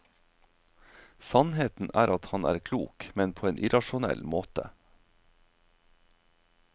Sannheten er at han er klok, men på en irrasjonell måte.